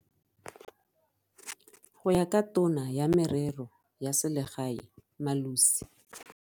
Go ya ka Tona ya Merero ya Selegae Malusi.